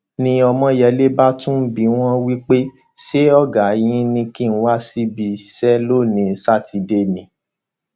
ni ọmọyẹlẹ bá tún bi wọn wí pé ṣé ọgá yín kì í wá síbi iṣẹ lónìín sátidé ni